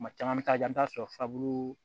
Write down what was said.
Kuma caman an bɛ taa ja i bɛ t'a sɔrɔ furabulu